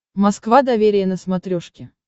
москва доверие на смотрешке